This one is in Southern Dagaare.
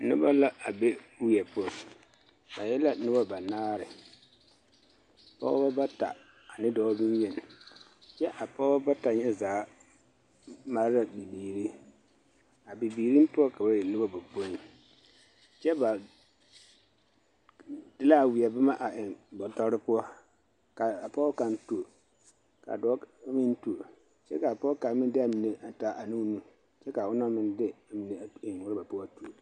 Noba la a be weɛ poɔ ba e la noba banaare, pɔgebɔ bata ane dɔɔ bonyeni kyɛ a pɔgebɔ bata nyɛ zaa mare la bibiiri, a bibiiriŋ poɔ ka ba e noba bapoi kyɛ ba de la a weɛ boma a eŋ bɔtɔre poɔ ka a pɔge kaŋ tuo ka a dɔɔ meŋ tuo kyɛ k'a pɔge kaŋa meŋ de a mine a taa a ne o nu kyɛ k'a onaŋ meŋ de amine eŋ rɔba poɔ tuo.